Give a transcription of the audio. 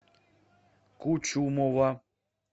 кучумова